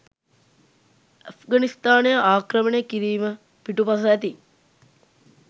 ඇෆ්ඝනිස්තානය ආක්‍රමණය කිරීම පිටුපස ඇති